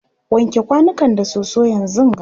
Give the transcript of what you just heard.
wanke kwanukan da soso yanzunga!